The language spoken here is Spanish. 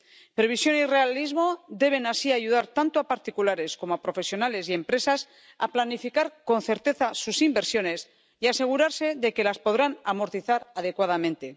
Previsión y realismo deben así ayudar tanto a particulares como a profesionales y empresas a planificar con certeza sus inversiones y a asegurarse de que las podrán amortizar adecuadamente.